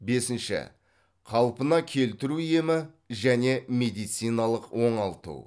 бесінші қалпына келтіру емі және медициналық оңалту